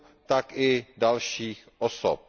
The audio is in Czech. tak i dalších osob.